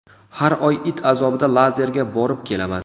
Har oy it azobida lazerga borib kelaman.